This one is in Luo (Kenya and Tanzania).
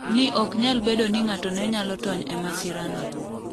ni ok nyal bedo ni ng'ato ne nyalo tony e masira no